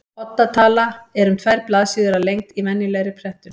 Odda tala er um tvær blaðsíður að lengd í venjulegri prentun.